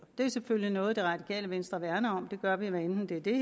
det er selvfølgelig noget det radikale venstre værner om og det gør vi hvad enten det